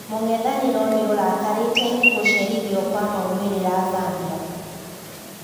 Mũng'ethaniro niirakate ni gũcerithio gwa maumirira Zambia.